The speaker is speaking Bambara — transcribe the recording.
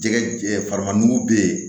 Jɛgɛ farima bɛ ye